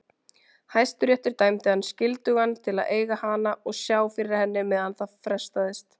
Hæstiréttur dæmdi hann skyldugan til að eiga hana og sjá fyrir henni meðan það frestaðist.